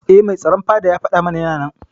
Eh Mai tsaron fada ya fada mana Yana nan.